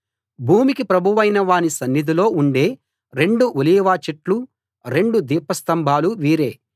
భూమికి ప్రభువైన వాని సన్నిధిలో ఉండే రెండు ఒలీవ చెట్లు రెండు దీపస్తంభాలు వీరే